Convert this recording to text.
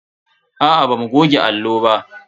Aa bamu goge allo ba.